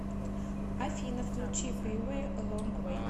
афина включи пиве лонгвей